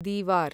Deewar